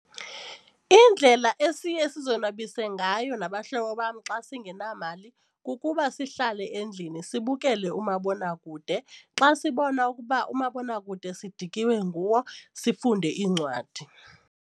Indlela esiye sizonwabise ngayo nabahlobo bam xa singenamali kukuba sihlale endlini sibukele umabonakude. Xa sibona ukuba umabonakude sidikiwe nguwo sifunde iincwadi.